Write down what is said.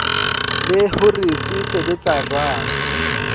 le hore se sebetsa jwang